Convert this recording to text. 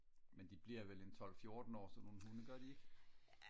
men de bliver vel en tolv fjorten år sådan nogle hunde gør de ikke